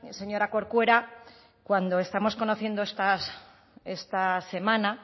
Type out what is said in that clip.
señora corcuera cuando estamos conociendo esta semana